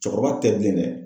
Cɛkɔrɔba tɛ bilen dɛ.